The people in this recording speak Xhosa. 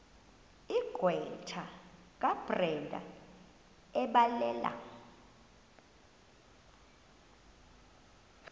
gqwetha kabrenda ebhalela